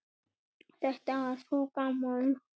Þetta var svo gaman.